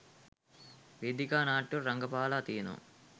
වේදිකා නාට්‍යවල රඟපාලා තියෙනවා.